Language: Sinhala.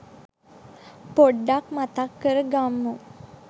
පොඩ්ඩක් මතක් කර ගම්මු